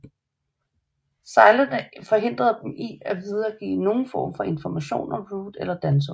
Sejlene forhindre dem fra at videregive nogen form af information om Root eller Danzō